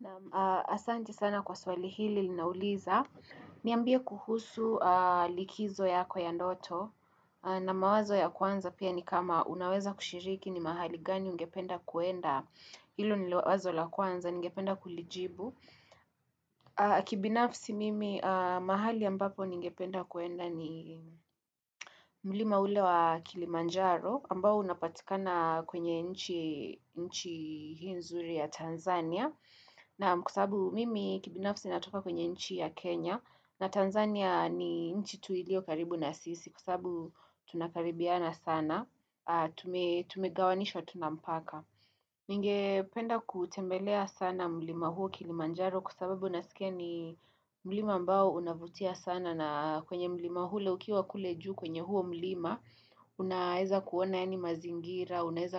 Naam asante sana kwa swali hili linauliza, niambie kuhusu likizo yako ya ndoto na mawazo ya kwanza pia ni kama unaweza kushiriki ni mahali gani ungependa kuenda ilo nilo wazo la kwanza, ningependa kulijibu. Kibinafsi mimi mahali ambapo ningependa kuenda ni mlima ule wa Kilimanjaro ambao unapatikana kwenye nchi hii nzuri ya Tanzania naam kwa sababu mimi kibinafsi natoka kwenye nchi ya Kenya na Tanzania ni nchi tuilio karibu na sisi kwa sababu tunakaribiana sana tumegawanisha tunampaka Ninge penda kutembelea sana mlima huo kilimanjaro kwa sababu nasikia ni mlima ambao unavutia sana na kwenye mlima ule ukiwa kule juu kwenye huo mlima, unaeza kuona ya ni mazingira, unaeza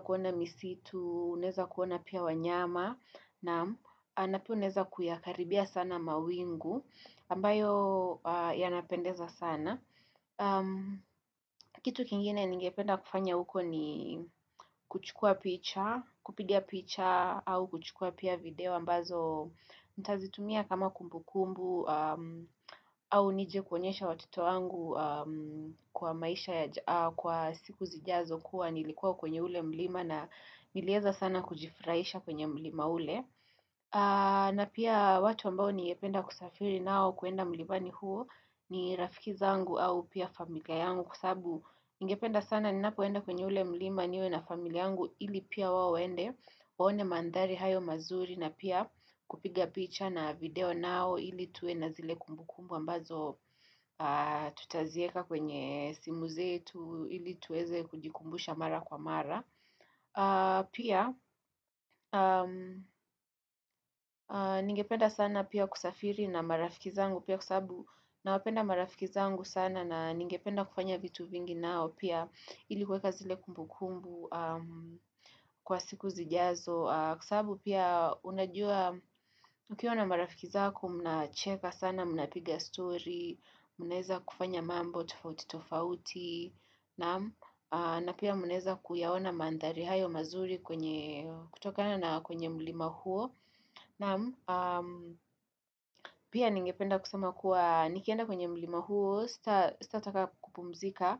kuona misitu, unaeza kuona pia wanyama, na pia unaeza kuyakaribia sana mawingu ambayo ya napendeza sana. Kitu kingine ningependa kufanya huko ni kuchukua picture, kupiga picture au kuchukua pia video ambazo nitazitumia kama kumbu kumbu au nije kuonyesha watoto wangu kwa maisha ya kwa siku zijazo kuwa nilikuwa kwenye ule mlima na nilieza sana kujifraisha kwenye mlima ule na pia watu ambao ningependa kusafiri nao kuenda mlimani huo ni rafikiza angu au pia familia yangu kwa sababu Ningependa sana ni napoenda kwenye ule mlima niwe na familia angu ili pia waende Waone mandhari hayo mazuri na pia kupiga picha na video nao ili tuwe na zile kumbu kumbu ambazo tutazieka kwenye simu ze tu ili tuweze kujikumbusha mara kwa mara Pia, ningependa sana pia kusafiri na marafiki zangu Pia kwa sababu na wapenda marafiki zangu sana na ningependa kufanya vitu vingi nao Pia ilikuweka zile kumbu kumbu kwa siku zijazo Kwa sababu pia unajua, ukiwa na marafiki zako, mna cheka sana, mna piga story mnaeza kufanya mambo, tofauti tofauti na pia mnaeza kuyaona mandhari hayo mazuri kutokana na kwenye mlima huo na pia ningependa kusema kuwa nikienda kwenye mlima huo sitataka kupumzika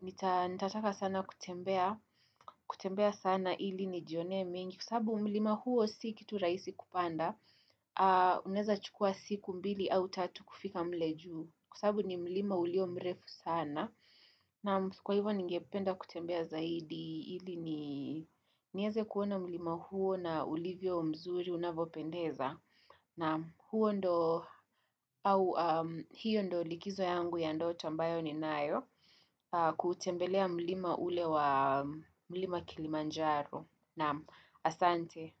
nitataka sana kutembea kutembea sana hili ni jionee mengi kwa sababu mlima huo si kitu raisi kupanda mnaeza chukua siku mbili au tatu kufika mle juu kwa sababu ni mlima ulio mrefu sana na kwa hivyo ningependa kutembea zaidi hili ni nieze kuona mlima huo na ulivyo mzuri unavopendeza. Na huo ndo au hiyo ndo likizo yangu ya ndoto ambayo ni nayo kutembelea mlima ule wa mlima kilimanjaro. Na asante.